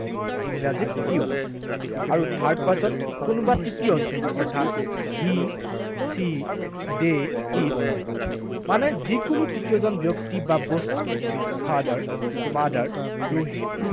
ইংৰাজীত you, আৰু third person কোনোবা তৃতীয় জন, অৰ্থাৎ he, she, they, it মানে যিকোনো তৃতীয় জন ব্যক্তি বা বস্তু, father, mother, Rohit